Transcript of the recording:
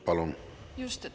Palun!